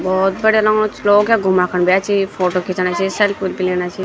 बहौत बढ़िया लगणु च लोग यख घुमणा खुन भी अयां छी फोटो खीचणा छी सेल्फी -उल्फी लेणा छी।